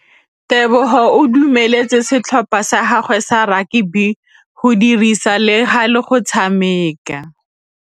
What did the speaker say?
Tebogô o dumeletse setlhopha sa gagwe sa rakabi go dirisa le galê go tshameka.